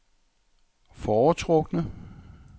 foretrukne